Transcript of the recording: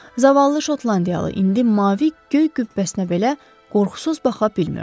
Zavallı şotlandiyalı indi mavi göy qübbəsinə belə qorxusuz baxa bilmirdi.